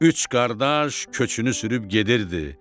Üç qardaş köçünü sürüb gedirdi.